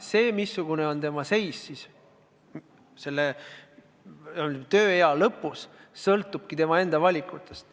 See, missugune on tema seis tööea lõpus, sõltub tema enda valikutest.